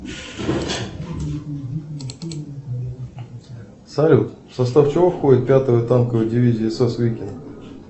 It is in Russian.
салют в состав чего входит пятая танковая дивизия сс викинг